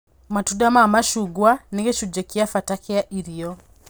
Matunda ma macungwa nĩ gĩcunji kĩa bata kĩa irio